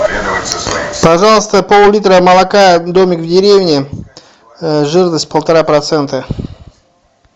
пожалуйста поллитра молока домик в деревне жирность полтора процента